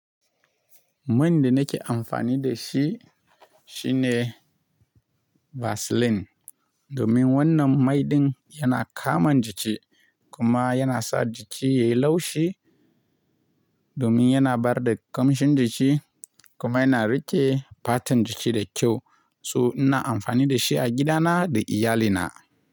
Man da nake amfani da shi shine Vaseline. Domin wannan mai din yana kaman jiki kuma yana sa jiki yayi laushi. Domin yana bada ƙamshin jiki kuma yana riƙe fatan jiki da kyau. So ina amfani da shi a gidana da iyalina.